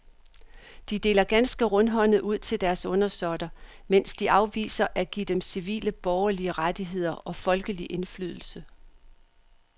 De deler ganske rundhåndet ud til deres undersåtter, mens de afviser at give dem civile borgerlige rettigheder og folkelig indflydelse.